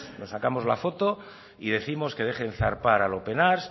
nos sacamos la foto y décimos que dejen zarpar al open arms